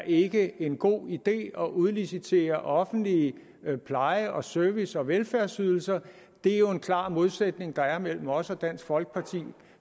ikke er en god idé at udlicitere offentlige pleje service og velfærdsydelser det er jo en klar modsætning der er mellem os og dansk folkeparti